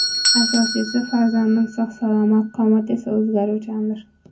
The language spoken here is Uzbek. Asosiysi, farzandim sog‘-salomat, qomat esa o‘zgaruvchandir.